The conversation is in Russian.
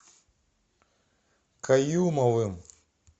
каюмовым